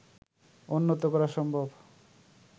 উন্নত করা সম্ভব